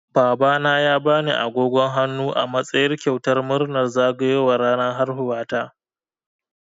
Babana ya bani agogon hannu a matsayin kyautar murnar zagayowar ranar haihuwata.